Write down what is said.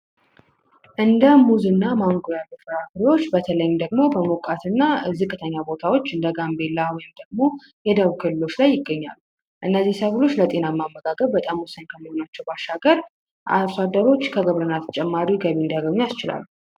እንደ ሙዝና ማንጎ ያሉ ፍራፍሬዎች በተለይም ደግሞ በሞቃትና ዝቅተኛ ቦታዎች በጋምቤላ ወይም ደግሞ የደቡብ ክልሎች ላይ ይገኛል እነዚህ ሰዎች ለጤናማ አመጋገብ በጣም ወሳኝ የሆኑ ባሻገር አርሶ አደሮች ተጨማሪ ገቢ እንዲያገኙ ያስችላል።